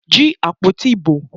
Jí àpótí ìbò!